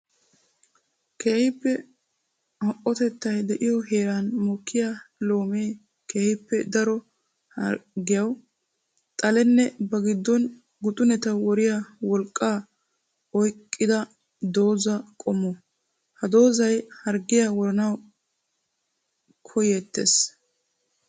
Keehippe ho''otettay de'iyo heeran mokkiya loome keehippe daro harggiyawu xalenne ba giddon guxunetta woriya wolqqa oyqqidda dooza qommo. Ha doozay harggiya woranawu koyetees.